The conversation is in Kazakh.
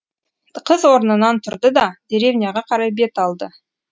қыз орнынан тұрды да деревняға қарай бет алды